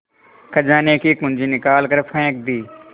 खजाने की कुन्जी निकाल कर फेंक दी